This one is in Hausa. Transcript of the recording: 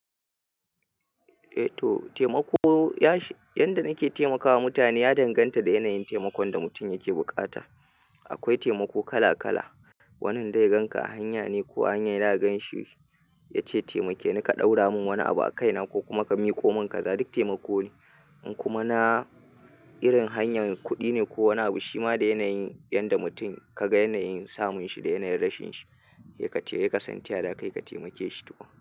Eh to taimako yanda nake taimakawa mutane ya danganta da yanayin taimakon da mutum yake bukata. Akwai taimako kala kala, wanin dai ganka a hanya ne ko a hanyar da ka ganshi ya ce taimake ni ka ɗaura min wani abu a kaina ko kuma ka miƙo min kaza duk taimako ne. In kuma na irin hanyar kudi ne ko wani abu shi da yanayin yanda mutum kaga yanayin samu shi da yanayin rashin shi sai kasan ta yaya zaka temake shi tukun.